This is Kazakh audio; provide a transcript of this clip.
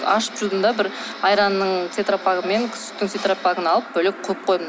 ашып жудым да бір айранның тетропагы мен сүттің тетропагын алып бөлек қойып қойдым